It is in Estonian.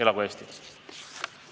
Elagu Eesti!